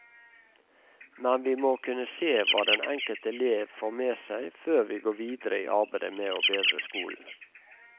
Men vi må kunne se hva den enkelte elev får med seg før vi går videre i arbeidet med å bedre skolen.